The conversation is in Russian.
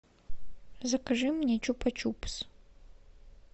закажи мне чупа чупс